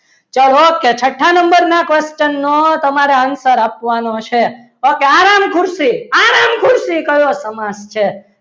ચાલો okay છઠ્ઠા number ના question નો તમારે answer આપવાનો છે okay આરામ ખુરશી આરામ આરામ ખુરશી કયો સમાસ છે.